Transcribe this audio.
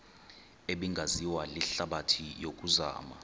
ebingaziwa lihlabathi yokuzama